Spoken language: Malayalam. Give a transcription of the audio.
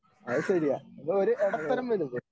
അത് ശരിയാ ഒരു ഇടത്തരം വലുത്.